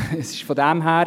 Es ist von daher …